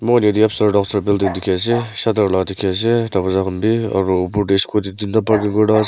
Mokhan etye upstair downstair building dekhe ase shutter la dekhe ase dowarja khan bhi aro opor dae scooty tinta parking kurina ase.